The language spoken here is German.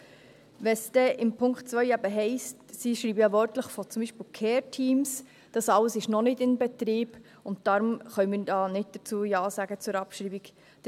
Also: Wenn es dann in Punkt 2 eben heisst – sie schreiben ja wörtlich beispielsweise von Care-Teams –, das alles sei noch nicht in Betrieb, und deswegen können wir hier zur Abschreibung nicht Ja sagen.